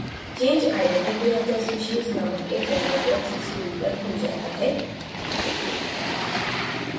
change identity of the species named एक dialog box screen पर खुल जाता है